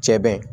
Cɛ bɛ